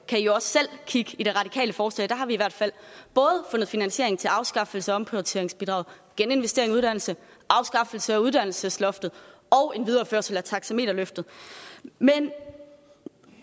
kan i jo også selv kigge i det radikale forslag der har vi i hvert fald fundet finansiering til både afskaffelse af omprioriteringsbidraget geninvestering i uddannelse afskaffelse af uddannelsesloftet og en videreførelse af taxameterløftet men